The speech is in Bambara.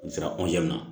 U sera ma